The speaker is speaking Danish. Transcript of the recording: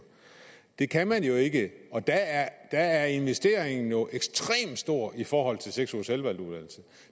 det kan man jo ikke og der er investeringen jo ekstremt stor i forhold til seks ugers selvvalgt uddannelse